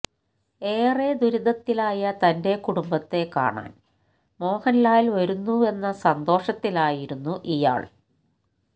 ഏറെ ദുരിതത്തിലായ തന്റെ കുടുംബത്തെ കാണാൻ മോഹൻലാൽ വരുന്നുവെന്ന സന്തോഷത്തിലായിരുന്നു ഇയാൾ